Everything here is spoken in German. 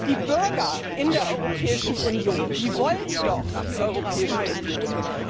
Die Bürger in der Europäischen Union wollen doch die Europäische Union.